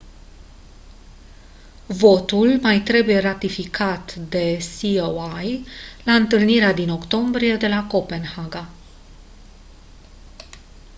votul mai trebuie ratificat de coi la întâlnirea din octombrie de la copenhaga